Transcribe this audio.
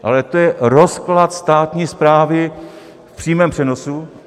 Ale to je rozklad státní správy v přímém přenosu.